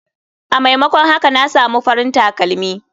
A maimakon haka na samu farin takalmi.